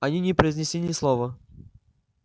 они не произнесли ни слова